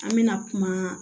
An mɛna kuma